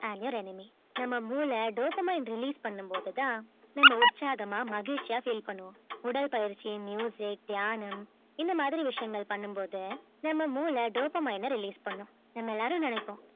and your enemy நம்ம மூளை dopamine release பண்ணும் போதுதான் நம்ம உற்சாகமா மகிழ்ச்சியா feel பண்ணுவோம் உடல் பயிற்சி தியானம் இந்த மாதிரி விஷயங்கள் பண்ணும் போது நம்ம மூளை dopamine அ release பண்ணும் நம்ம எல்லாரும் நினைப்போம்